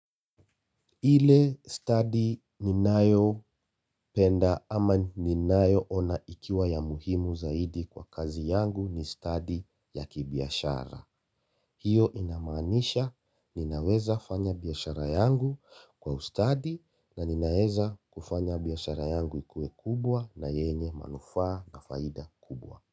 Ile stadi ninayopenda ama ninayoona ikiwa ya muhimu zaidi kwa kazi yangu ni stadi ya kibiashara. Hiyo inamaanisha ninaweza kufanya biashara yangu kwa ustadi na ninaweza kufanya biashara yangu iwe kubwa na yenye manufaa na faida kubwa.